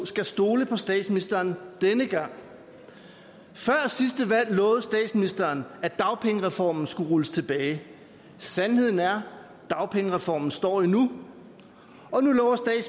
skal stole på statsministeren denne gang før sidste valg lovede statsministeren at dagpengereformen skulle rulles tilbage sandheden er at dagpengereformen står endnu